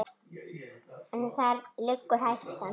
En þar liggur hættan.